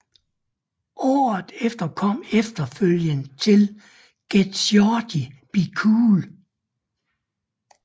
Året efter kom efterfølgeren til Get Shorty Be Cool